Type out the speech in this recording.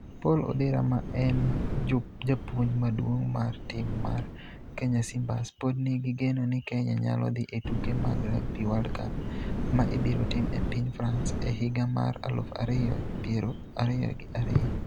Paul Odera ma en japuonj maduong' mar tim mar Kenya Simbas pod nigi geno ni Kenya nyalo dhi e tuke mag Rugby World Cup ma ibiro tim e piny France e higa mar aluf ariyo piero ariyo gi ariyo.